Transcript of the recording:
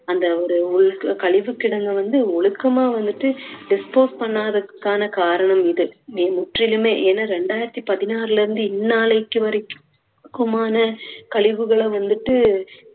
அந்த ஒரு உ~ கழிவு கிடங்கை வந்து ஒழுக்கமா வந்துட்டு dispose பண்ணாததுக்கான காரணம் இது. இது முற்றிலுமே ஏன்னா இரண்டாயிரத்தி பதினாறுல இருந்து இந்நாளைக்கு வரைக்குமான கழிவுகளும் வந்துட்டு